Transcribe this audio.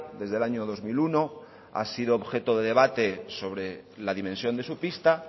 desde el año dos mil uno ha sido objeto de debate sobre la dimensión de su pista